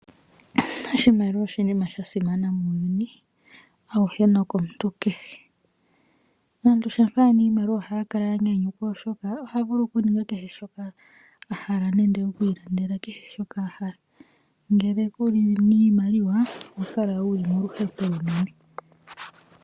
Oshimaliwa oshinima shasimana muuyuni auhe nokomuntu kehe. Aantu ngele yena iimaliwa ohaya kala yanyayukwa oshoka , ohaya vulu okuninga kehe shoka yahala nenge okwiilandela kehe shoka yahala . Ngele kuna iimaliwa oho kala wuli moluhepo olunene.